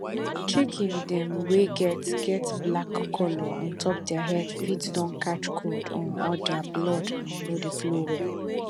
chicken dem wey get get black color ontop dere head fit don catch cold um or dere blood um no dey flow well